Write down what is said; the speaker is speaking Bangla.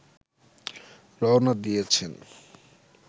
রওনা দিয়েছেন